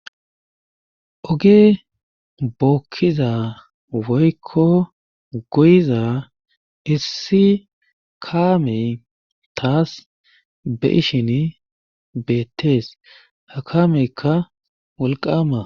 Oge bookkiza woykko goyiza issi kaamey taas be7ishini beetees ha kaameyka wolqqaama.